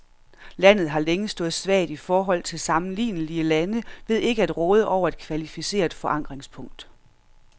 Landet har længe stået svagt i forhold til sammenlignelige lande ved ikke at råde over et kvalificeret forankringspunkt.